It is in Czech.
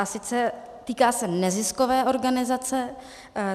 A sice, týká se neziskové organizace.